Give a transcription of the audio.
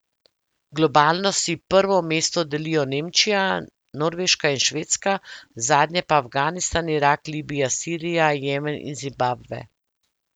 Globalno si prvo mesto delijo Nemčija, Norveška in Švedska, zadnje pa Afganistan, Irak, Libija, Sirija, Jemen in Zimbabve.